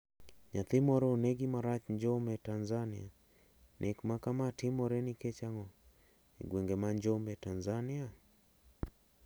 Nyathi moro onegi marach Njombe Tanzania. Nek makama timore nikech ango e gwenge ma njombe Tanzania?